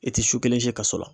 E tɛ su kelen si kaso la